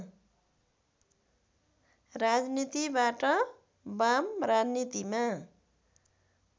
राजनीतिबाट वाम राजनीतिमा